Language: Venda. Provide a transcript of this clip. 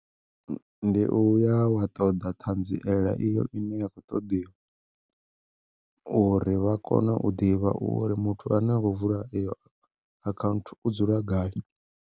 Ndi uya wa ṱoḓa ṱhanziela iyo ine ya kho ṱoḓiwa, uri vha kone u ḓivha uri muthu ane a khou vula iyo akhanthu u dzula gai.